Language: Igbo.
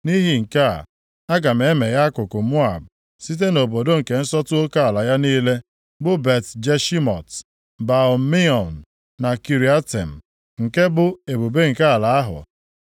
nʼihi nke a, aga m emeghe akụkụ Moab, site nʼobodo nke nsọtụ oke ala ya niile, bụ Bet-Jeshimọt, Baal-Meon na Kiriatem, nke bụ ebube nke ala ahụ.